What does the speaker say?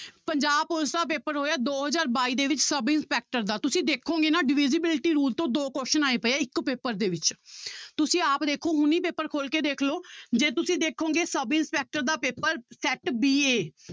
Punjab police ਦਾ paper ਹੋਇਆ ਦੋ ਹਜ਼ਾਰ ਬਾਈ ਦੇ ਵਿੱਚ ਸਬ ਇੰਸਪੈਕਟਰ ਦਾ ਤੁਸੀਂ ਦੇਖੋਗੇ ਨਾ divisibility rule ਤੋਂ ਦੋ question ਆਏ ਪਏ ਆ ਇੱਕ ਪੇਪਰ ਦੇ ਵਿੱਚ ਤੁਸੀਂ ਆਪ ਦੇਖੋ ਹੁਣੀ ਪੇਪਰ ਖੋਲ ਕੇ ਦੇਖ ਲਓ ਜੇ ਤੁਸੀਂ ਦੇਖੋਗੇ ਸਬ ਇੰਸਪੈਕਟਰ ਦਾ ਪੇਪਰ set b a